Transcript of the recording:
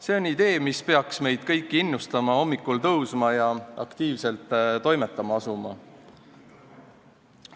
See on idee, mis peaks meid kõiki innustama hommikul tõusma ja aktiivselt toimetama asuma.